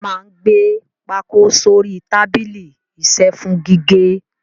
A máa ń gbé pákó sórí tábìlì isẹ́ fún gígé.